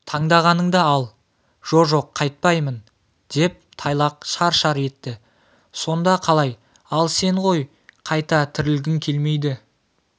таңдағаныңды ал жо-жоқ қайтпаймын деп тайлақ шар-шар етті сонда қалай ал сен ғой қайта тірілгің келмейді